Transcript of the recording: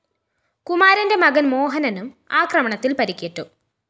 കുമാരന്റെ മകന്‍ മോഹനനും ആക്രമണത്തില്‍ പരിക്കേറ്റു